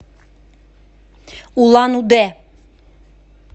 улан удэ